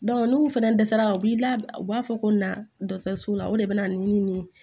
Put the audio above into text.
n'u fɛnɛ dɛsɛra u b'i la u b'a fɔ ko na dɔgɔtɔrɔso la o de bɛ na ni nin ye